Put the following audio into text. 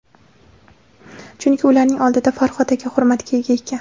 Chunki ularning oldida Farhod katta hurmatga ega ekan.